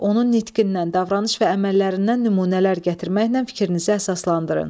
Onun nitqindən, davranış və əməllərindən nümunələr gətirməklə fikrinizi əsaslandırın.